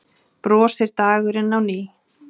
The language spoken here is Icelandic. Brosir dagurinn á ný.